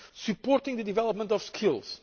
SMEs supporting the development of